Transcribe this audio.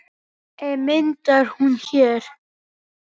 En myndar hún hér?